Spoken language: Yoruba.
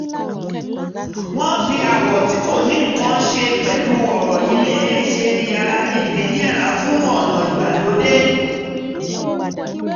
wọ́n fi àwọ̀ tí kò ní nǹkan ṣe pẹ̀lú ọ̀rọ̀ ilé ṣe yàrá ìgbẹ́ yẹra fún ọ̀nà ìgbàlódé